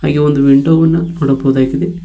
ಇಲ್ಲಿ ಒಂದು ವಿಂಡೋ ವನ್ನ ನೋಡಬಹುದಾಗಿದೆ.